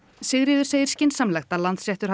Sigríður segir skynsamlegt að Landsréttur